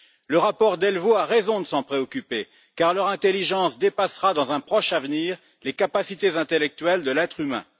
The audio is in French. Le rapport Delvaux a raison de s'en préoccuper, car leur intelligence dépassera, dans un proche avenir, les capacités intellectuelles de l'être humain.